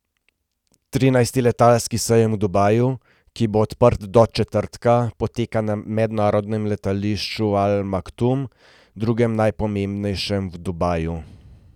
Trinajsti letalski sejem v Dubaju, ki bo odprt do četrtka, poteka na mednarodnem letališču Al Maktum, drugem najpomembnejšem v Dubaju.